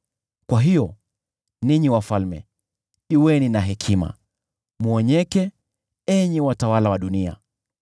Kwa hiyo, ninyi wafalme, kuweni na hekima; mwonyeke, enyi watawala wa dunia.